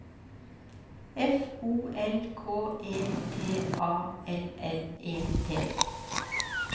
F O L K E T A L L E T